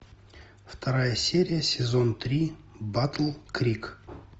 вторая серия сезон три батл крик